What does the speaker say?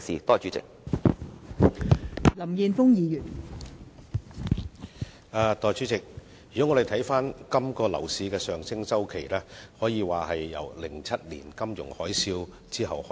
代理主席，今個樓市的上升周期，可以說自2007年發生金融海嘯後開始。